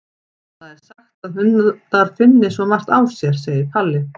Það er sagt að hundar finni svo margt á sér, segir Palli.